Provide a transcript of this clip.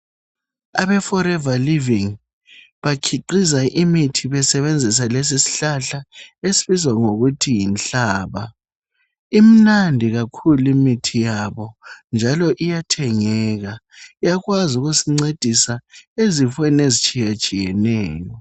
Abeforeva livingi bakhiqiza imithi besebenzisa lesisihlhla esibizwa ngokuthi yinhlaba. Imnandi kakhulu imithi yabo njalo iyathengeka. Iyakwazi ukusincedisa ezifeni ezitshiyatshiyeneyo.